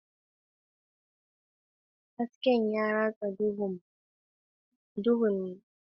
Hasken ya ratsa duhun matakin, yana haskaka azabtar da Hamlet.